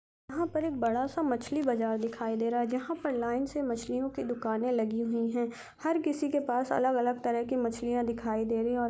यहां पर एक बड़ा सा मछली बाजार दिखाई दे रहा है जहां पर लाइन से मछलियों की दुकाने लगी हुई है हर किसी के पास अलग-अलग तरह के मछलिया दिखाई दे रही हैं और--